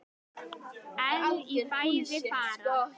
En í fæði fara